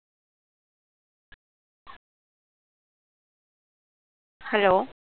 hello